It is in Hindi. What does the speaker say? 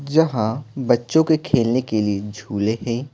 जहां बच्चों के खेलने के लिए झूले हैं।